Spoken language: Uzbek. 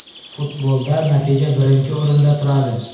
Futbolda natija birinchi o‘rinda turadi.